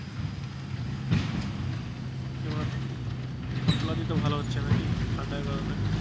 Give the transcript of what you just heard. এবার ফসলাদি তো ভালো হচ্ছে নাকি ঠান্ডা কারণে?